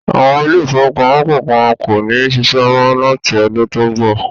Àwọn ilé-ìfowópamọ́sí kọ̀ọ̀kan kò ní ṣiṣẹ́ mọ́ láti ọdun tó ń bọ̀.